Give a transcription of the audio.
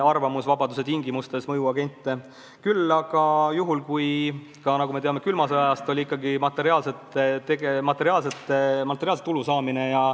Aga nagu me teame külma sõja ajast, sellise tegevuse peamisi motivaatoreid on ikkagi olnud materiaalse tulu saamine.